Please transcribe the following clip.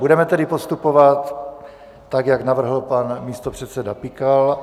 Budeme tedy postupovat tak, jak navrhl pan místopředseda Pikal.